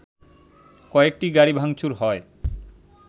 কয়েকটি গাড়ি ভাংচুর হয়